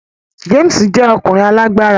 James jẹ́ ọkùnrin alágbára